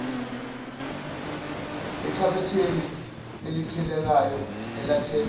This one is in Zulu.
ekhabetheni elikhiyekayo elakhelwe